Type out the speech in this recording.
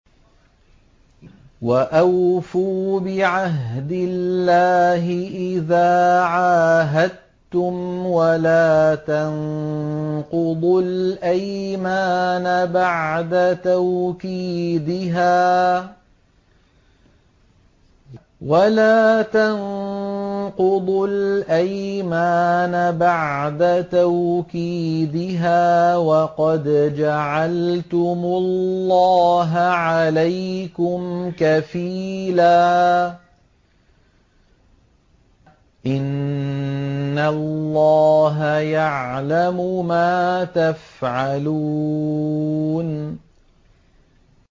وَأَوْفُوا بِعَهْدِ اللَّهِ إِذَا عَاهَدتُّمْ وَلَا تَنقُضُوا الْأَيْمَانَ بَعْدَ تَوْكِيدِهَا وَقَدْ جَعَلْتُمُ اللَّهَ عَلَيْكُمْ كَفِيلًا ۚ إِنَّ اللَّهَ يَعْلَمُ مَا تَفْعَلُونَ